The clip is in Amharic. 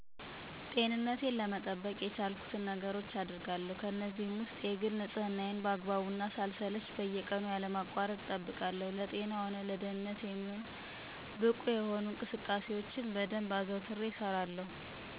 ጤንነቴን ለመጠበቅ የቻልኩትን ነገሮች አገርጋለሁ። ከእነዚህም ውስጥ የግል ንፅህናየን በአግባቡ እና ሳልሰለች በየቀኑ ያለማቋረጥ እጠብቃለሁ። አስፈላጊ ሆኖ ከተገኘ ሆስፒታል እራስ ከህመም ለመከላከል በየጊዜው እመረመራለሁ። እና ተገቢውን የአካል ብቃት እንቅስቃሴ በየጊዜው እሠራለሁ። ደህንነቴን ለመጠበቅ ደግሞ እራሴን ከተለያዩ ጥቃቶች ለመከላከል ንቁ እና የአካል ብቃት እሠለጥናለሁ። በጥቅሉ ለጤና ሆነ ለደንነት የሚሆን ብቁ የሆኑ እንቅስቃሴዎችን በደንብ አዘውትሬ እሰራለሁ።